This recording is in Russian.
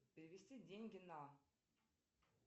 перевести деньги на